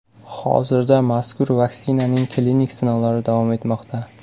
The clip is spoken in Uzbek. Hozirda mazkur vaksinaning klinik sinovlari davom etmoqda.